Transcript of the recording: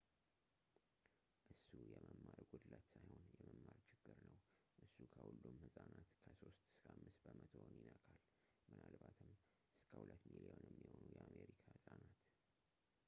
እሱ የመማር ጉድለት ሳይሆን የመማር ችግር ነው; እሱ ከሁሉም ሕፃናት ከ 3 እስከ 5 በመቶውን ይነካል ፣ ምናልባትም እስከ 2 ሚሊዮን የሚሆኑ የአሜሪካ ሕፃናት